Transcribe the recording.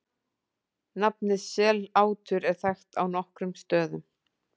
Nafnið Sellátur er þekkt á nokkrum stöðum.